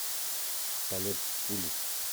полет пули